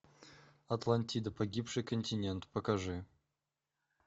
атлантида погибший континент покажи